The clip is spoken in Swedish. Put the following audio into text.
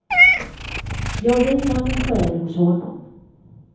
Jag vilar min själ hos honom.